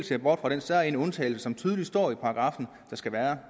ser bort fra den særegne undtagelse som tydeligt står i paragraffen at der skal være